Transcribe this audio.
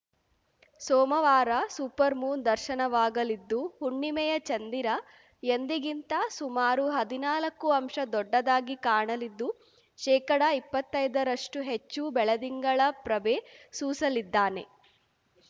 ಸೋಮವಾರ super moon ದರ್ಶನವಾಗಲಿದ್ದು ಹುಣ್ಣಿಮೆಯ ಚಂದಿರ ಎಂದಿಗಿಂತ ಸುಮಾರು ಹದಿನಾಲಕ್ಕು ಅಂಶ ದೊಡ್ಡದಾಗಿ ಕಾಣಲಿದ್ದು ಶೇಕಡಇಪ್ಪತ್ತೈದರಷ್ಟುಹೆಚ್ಚು ಬೆಳದಿಂಗಳ ಪ್ರಭೆ ಸೂಸಲಿದ್ದಾನೆ